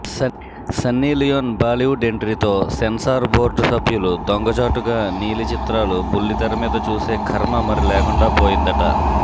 Sunny Leone Bollywood ఎంట్రీతో censor board సభ్యులు దొంగచాటుగా నీలి చిత్రాలు బుల్లితెరమీద చూసే ఖర్మ మరి లేకుండా పోయిందట